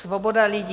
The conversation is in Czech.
Svoboda lidí...